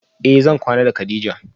Eh zan kwana da kadija